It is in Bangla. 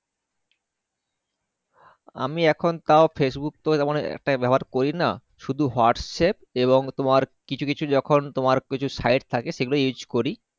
আমি এখন তাও Facebook থেকে তো একটা ব্যাবহার করি না শুধু Whatapp এবং তোমার কিছু কিছু যখন তোমার Site থাকে সেগুলো Use করি